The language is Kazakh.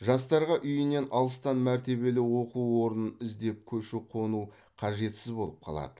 жастарға үйінен алыстан мәртебелі оқу орнын іздеп көшіп қону қажетсіз болып қалады